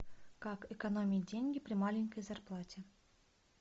как экономить деньги при маленькой зарплате